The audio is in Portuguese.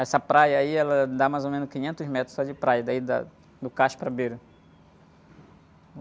Essa praia aí, ela dá mais ou menos quinhentos metros só de praia, daí da, do cacho para a beira.